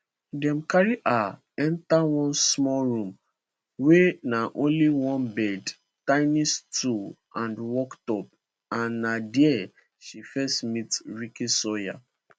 dem carry her enta one small room wia na only one bed tiny stool and worktop and na dia she first meet ricky sawyer